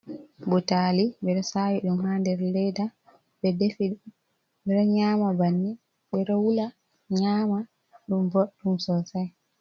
Butali, ɓe ɗo sawi ɗum ha nder leeda, ɓe defi, ɓe ɗo nyama banne, ɓe ɗo wula nyama ɗum boɗɗum sosai.